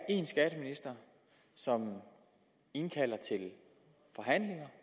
én skatteminister som indkalder til forhandlinger